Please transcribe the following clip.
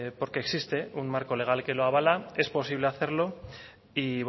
porque existe un marco legal que lo avala es posible hacerlo y